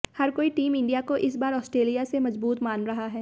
हर कोई team India को इस बार ऑस्ट्रेलिया से मजबूत मान रहा है